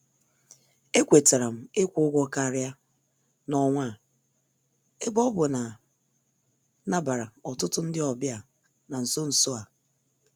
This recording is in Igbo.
E kwetaram ikwu ụgwọ karịa n' ọnwa a ebe ọbụ nam nabara ọtụtụ ndị ọbịa n' nsọ nsọ a.